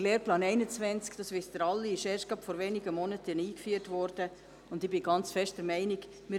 Der Lehrplan 21 wurde erst vor wenigen Monaten eingeführt, wie Sie alle wissen.